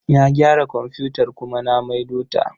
Na gyara komfutar kuma na maido ta.